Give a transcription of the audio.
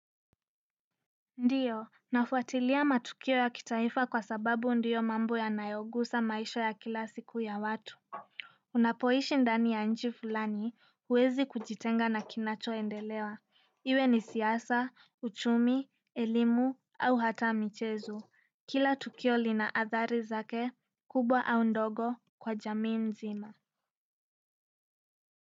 Ndiyo, nafuatilia matukio ya kitaifa kwa sababu ndiyo mambo yanayogusa maisha ya kila siku ya watu. Unapoishi ndani ya nchi fulani huwezi kujitenga na kinachoendelea iwe ni siasa, uchumi, elimu, au hata michezo kila tukio li na athari zake, kubwa au ndogo kwa jamii nzima.